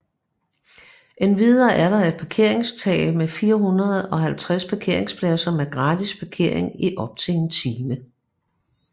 Endvidere er der et parkeringstag med 450 parkeringspladser med gratis parkering i op til 1 time